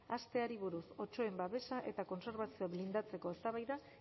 hasteari buruz otsoen babesa eta kontserbazioa blindatzeko eztabaida